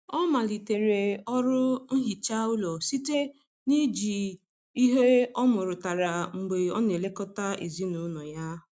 Ọ malitere ọrụ nhicha ụlọ site na iji ihe ọmụrụtara mgbe ọ na-elekọta ezinụlọ ya.